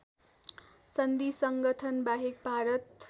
सन्धि संगठनबाहेक भारत